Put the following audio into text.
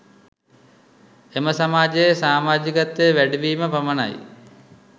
එම සමාජයේ සාමජිකත්වය වැඩි වීම පමණයි